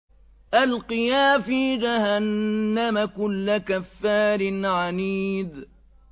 أَلْقِيَا فِي جَهَنَّمَ كُلَّ كَفَّارٍ عَنِيدٍ